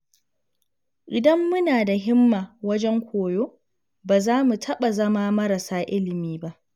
Idan muna da himma wajen koyo, ba za mu taɓa zama marasa ilimi ba.